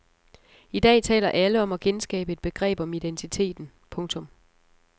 I dag taler alle om at genskabe et begreb om identiteten. punktum